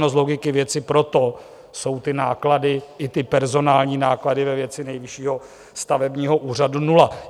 No z logiky věci proto jsou ty náklady i ty personální náklady ve věci Nejvyššího stavebního úřadu nula.